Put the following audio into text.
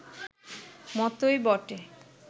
মতোই বটে